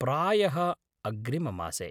प्रायः अग्रिममासे।